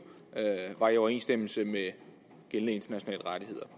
er i overensstemmelse med gældende internationale rettigheder